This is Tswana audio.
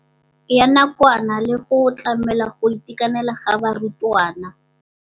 Ya nakwana le go tlamela go itekanela ga barutwana.